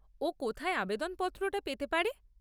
ও কোথায় আবেদন পত্রটা পেতে পারে?